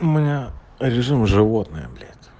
у меня режим животное блять